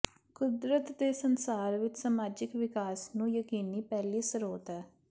ਕੁਦਰਤ ਦੇ ਸੰਸਾਰ ਵਿਚ ਸਮਾਜਿਕ ਵਿਕਾਸ ਨੂੰ ਯਕੀਨੀ ਪਹਿਲੀ ਸਰੋਤ ਹੈ